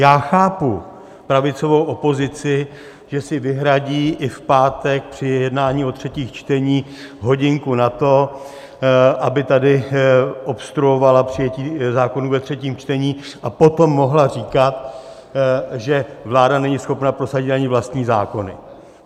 Já chápu pravicovou opozici, že si vyhradí i v pátek při jednání o třetích čteních hodinku na to, aby tady obstruovala přijetí zákonů ve třetím čtení a potom mohla říkat, že vláda není schopna prosadit ani vlastní zákony.